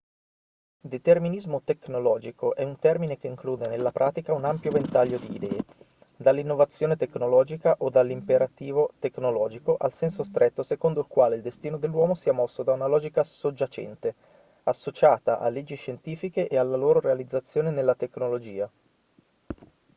determinismo tecnologico è un termine che include nella pratica un ampio ventaglio di idee dall'innovazione tecnologica o dall'imperativo tecnologico al senso stretto secondo il quale il destino dell'uomo sia mosso da una logica soggiacente associata a leggi scientifiche e alla loro realizzazione nella tecnologia